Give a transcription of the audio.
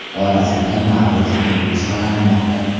Xorazmda Navro‘z keng nishonlanmoqda.